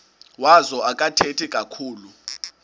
wazo akathethi kakhulu